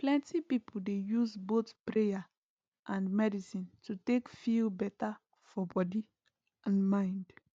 plenty people dey use both prayer and medicine to take feel better for body and mind